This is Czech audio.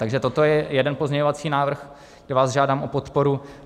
Takže toto je jeden pozměňovací návrh, kde vás žádám o podporu.